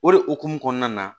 O de hukumu kɔnɔna na